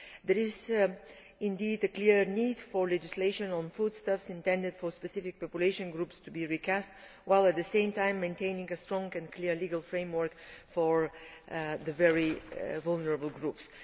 There is a clear need for legislation on foodstuffs intended for specific population groups to be recast while at the same time maintaining a strong and clear legal framework for the very vulnerable groups.